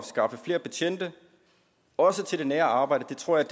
skaffe flere betjente også til det nære arbejde tror jeg